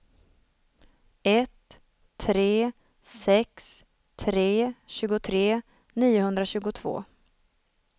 ett tre sex tre tjugotre niohundratjugotvå